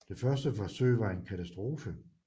Det første forsøg var en katastrofe